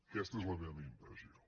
aquesta és la meva impressió